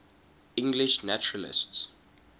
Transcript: english naturalists